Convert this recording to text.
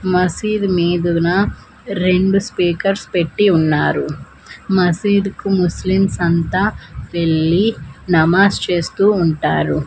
మసీద్ మీదున రెండు స్పీకర్స్ పెట్టి ఉన్నారు మసీదుకు ముస్లిమ్స్ అంతా వెళ్లి నమాజ్ చేస్తూ ఉంటారు.